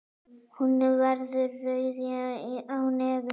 Hún verður rauð á nefinu.